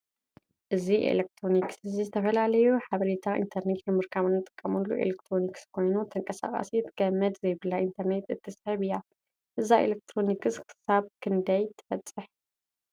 እዚ ኤሌክትሮኒስ እዚ ዝተፈላለዩ ሓበሬታ ኢንተርነት ንምርካብ እንጥቀመላ ኤሌክትሮኒክስ ኮይና ተቃሳቀሲት ገነድ ዘይብላ እንተርኔት እትስሕብ እያ:: እዛ ኤሌክትሮኒስ ክሳብ ክንደይ ትበፅሕ ?